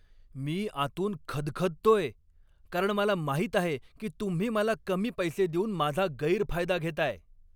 मी आतून खदखदतोय, कारण मला माहित आहे की तुम्ही मला कमी पैसे देऊन माझा गैरफायदा घेताय.